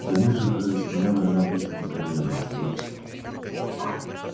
да нет же прелесть моя война будет непременно сказал стюарт